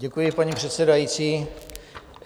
Děkuji, paní předsedající.